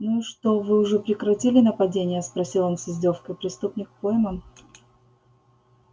ну и что вы уже прекратили нападения спросил он с издёвкой преступник пойман